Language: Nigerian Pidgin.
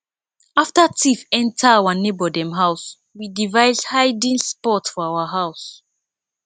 after thief enter our neighbor dem house we device hiding spot for our house